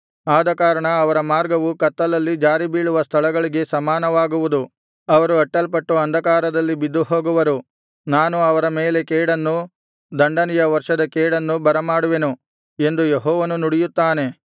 ಆದಕಾರಣ ಅವರ ಮಾರ್ಗವು ಕತ್ತಲಲ್ಲಿ ಜಾರಿಬೀಳುವ ಸ್ಥಳಗಳಿಗೆ ಸಮಾನವಾಗುವುದು ಅವರು ಅಟ್ಟಲ್ಪಟ್ಟು ಅಂಧಕಾರದಲ್ಲಿ ಬಿದ್ದುಹೋಗುವರು ನಾನು ಅವರ ಮೇಲೆ ಕೇಡನ್ನು ದಂಡನೆಯ ವರ್ಷದ ಕೇಡನ್ನು ಬರಮಾಡುವೆನು ಎಂದು ಯೆಹೋವನು ನುಡಿಯುತ್ತಾನೆ